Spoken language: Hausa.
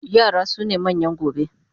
Yara sune manyan gobe